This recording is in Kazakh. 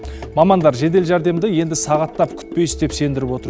мамандар жедел жәрдемді енді сағаттап күтпейсіз деп сендіріп отыр